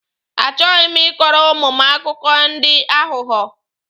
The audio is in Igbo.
A chọghi m ị kọrọ ụmụ m akụkọ ndị aghụghọ.